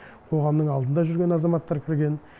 қоғамның алдында жүрген азаматтар кірген